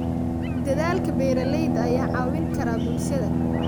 Dadaalka beeralayda ayaa caawin kara bulshada.